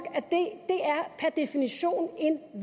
per definition